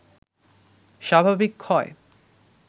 স্বাভাবিক ক্ষয়